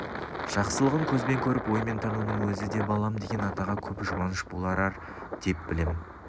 жақсылығын көзбен көріп оймен танудың өзі де балам деген атаға көп жұбаныш бол ар деп білем